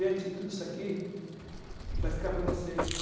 Gente, tudo isso aqui vai ficar para vocês.